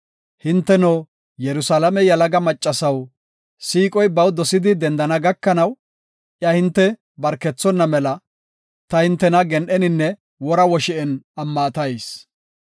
Hinteno, Yerusalaame yalaga maccasaw, siiqoy baw dosidi dendana gakanaw, iya hinte barkethonna mela, ta hintena gen7eninne wora woshi7en ammatayis.